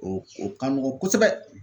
O o ka nɔgɔn kosɛbɛ